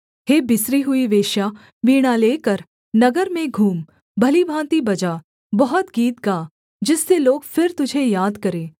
हे बिसरी हुई वेश्या वीणा लेकर नगर में घूम भली भाँति बजा बहुत गीत गा जिससे लोग फिर तुझे याद करें